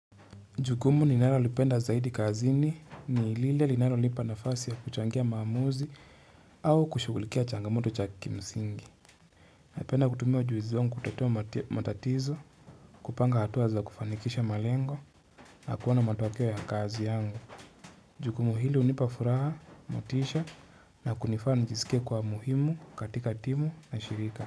Jukumu ninalo lipenda zaidi kazini ni lile linalonipa nafasi ya kuchangia maamuzi au kushugulikia changamoto cha kimsingi. Napenda kutumia ujuzi wangu kutatua matatizo kupanga hatua za kufanikisha malengo na kuona matokeo ya kazi yangu. Jukumu hili hunipa furaha, motisha na kunifanya njisike kua muhimu katika timu na shirika.